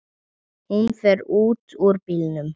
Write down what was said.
Hún fer út úr bílnum.